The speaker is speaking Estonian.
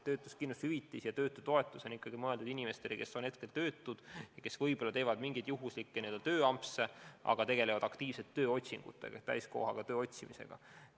Töötuskindlustushüvitis ja töötutoetus on ikkagi mõeldud inimestele, kes on tõesti töötud ja kes võib-olla teevad mingeid juhuslikke tööampse, aga tegelevad aktiivselt tööotsingutega, täiskohaga töö otsimisega.